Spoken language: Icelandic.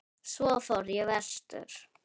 Svo fór ég vestur.